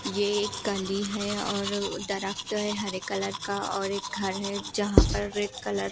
ये एक गली है और दरक्त है हरे कलर का और एक घर है जहां पर रेड कलर --